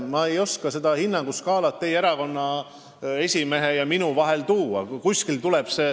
Ma ei oska seda hinnanguskaalat teie erakonna esimehe ja enda vahel tuua.